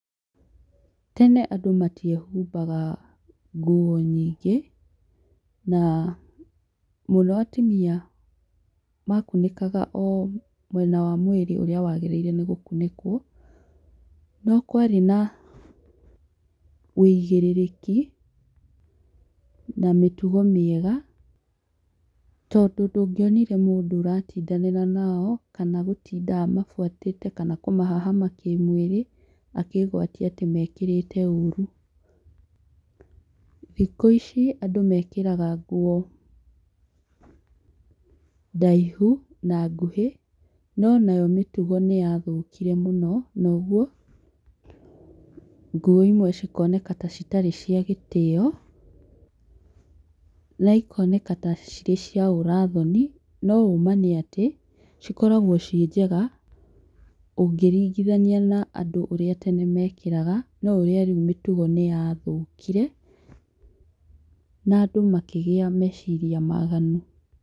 Tene andũ matiehumbaga nguo nyingĩ ,na mũno atimia makunĩkaga o mwena wa mwĩrĩ ũrĩa wagĩrĩire nĩ gũkũnĩkwo, no kwarĩ na ũigĩrĩrĩki na mĩtugo mĩega tondũ ndũngĩonire mũndũ ũratindanĩra nao kana gũtinda amabuatĩte kana kũmahahama kĩmwĩrĩ akĩĩgwatia atĩ mekĩrĩte ũru. Thikũ ici andũ mekĩraga nguo ndaihu na ngũhĩ no nayo mĩtugo nĩyathũkire mũno noguo ngũo imwe cikoneka ta citarĩ cia gĩtĩo na ikoneka ta cirĩ cia ũrathoni no ũma nĩ atĩ cikoragwo ciĩ njega ũngĩringithania na andũ ũrĩa tene mekĩraga no ũrĩa rĩu mĩtugo nĩyathũkire na andũ makĩgĩa meciria maganu.